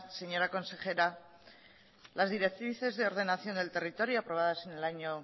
señora consejera las directrices de ordenación del territorio aprobados en el año